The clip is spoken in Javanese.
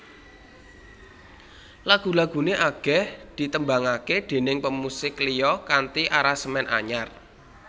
Lagu laguné akèh ditembangaké déning pemusik liya kanthi aransemen anyar